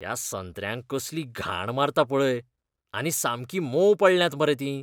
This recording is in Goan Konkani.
त्या संत्र्यांक कसली घाण मारता पळय आनी सामकीं मोंव पडल्यात मरे तीं.